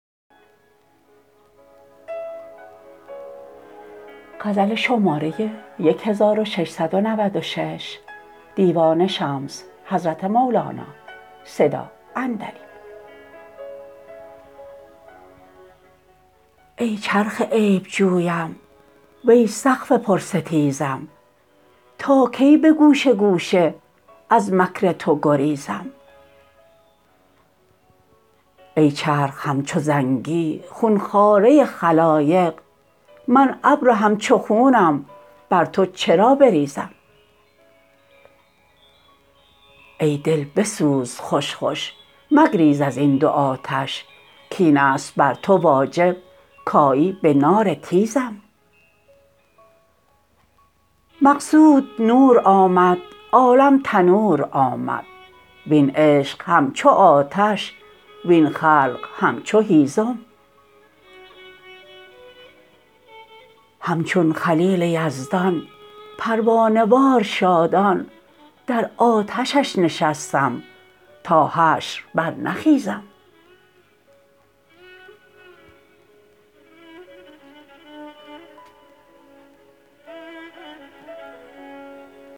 ای چرخ عیب جویم وی سقف پرستیزم تا کی به گوشه گوشه از مکر تو گریزم ای چرخ همچو زنگی خون خواره خلایق من ابر همچو خونم بر تو چرا بریزم ای دل بسوز خوش خوش مگریز از این دوآتش کاین است بر تو واجب کیی به نار تیزم مقصود نور آمد عالم تنور آمد وین عشق همچو آتش وین خلق همچو هیزم همچون خلیل یزدان پروانه وار شادان در آتشش نشستم تا حشر برنخیزم